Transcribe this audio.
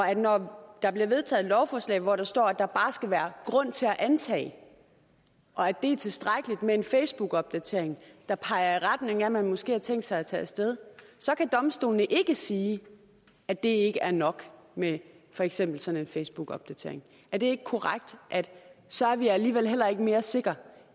at når der bliver vedtaget et lovforslag hvor der står at der bare skal være grund til at antage det og at det er tilstrækkeligt med en facebookopdatering der peger i retning af at man måske har tænkt sig at tage af sted så kan domstolene ikke sige at det ikke er nok med for eksempel sådan en facebookopdatering er det ikke korrekt at så er vi alligevel heller ikke mere sikre